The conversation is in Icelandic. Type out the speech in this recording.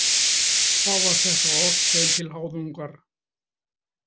Þá var þetta ort þeim til háðungar.